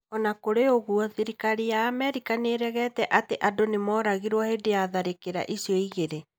O na kũrĩ ũguo, thirikari ya Amerika nĩ nĩ ĩregete atĩ andũ nĩ mooragirũo hĩndĩ ya tharĩkĩro icio igĩrĩ.